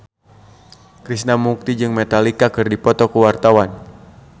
Krishna Mukti jeung Metallica keur dipoto ku wartawan